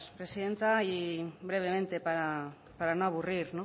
presidenta y brevemente para no aburrir